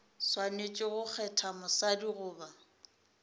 swanetše go kgetha mosadi goba